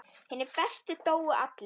Hinir bestu dóu allir.